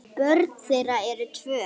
Börn þeirra eru tvö.